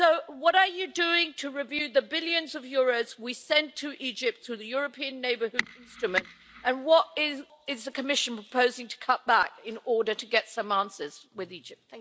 So what are you doing to review the billions of euros we send to Egypt through the European Neighbourhood Instrument, and what is the Commission proposing to cut back in order to get some answers from Egypt?